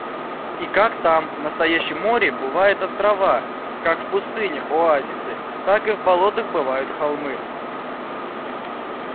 и как там в настоящем море бывают острова как в пустынях оазисы так и в болотах бывают холмы